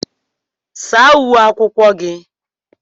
Saa uwe akwụkwọ gị!